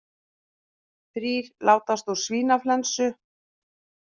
Þrír látast úr svínaflensu